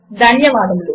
ధన్యవాదములు